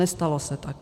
Nestalo se tak.